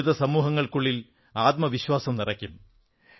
ദളിത് സമൂങ്ങൾക്കുള്ളിൽ ആത്മവിശ്വാസം നിറയ്ക്കും